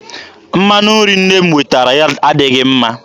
Mmanụ nri nne m wetara adịghị mma.